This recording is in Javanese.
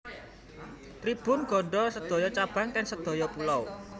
Tribun gadhah sedoyo cabang ten sedoyo pulau